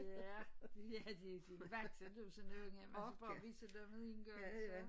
Ja ja de de vakse du sådan en unge man skal bare vise dem det én gang så